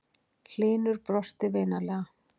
Hlynur brosti vinalega.